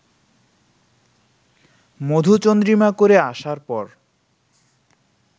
মধুচন্দ্রিমা করে আসার পর